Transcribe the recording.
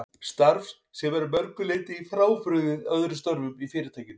Starf sem er að mörgu leyti frábrugðið öðrum störfum í Fyrirtækinu.